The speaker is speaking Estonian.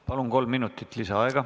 Palun, kolm minutit lisaaega.